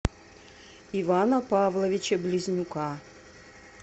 ивана павловича близнюка